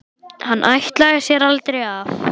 Hann ætlaði sér aldrei af.